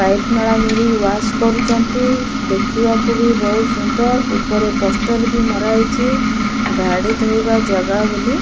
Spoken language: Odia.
ପାଇପ୍ ନଳା ଧରି ୱାସ କରୁଚନ୍ତି ଦେଖିବାକୁ ବି ବହୁତ୍ ସୁନ୍ଦର୍ ଉପରେ ପୋଷ୍ଟର ବି ମରାହେଇଛି ଗାଡ଼ି ଧୋଇବା ଜାଗା ବୋଲି --